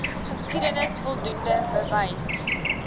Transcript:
geskiedenis voldoende bewys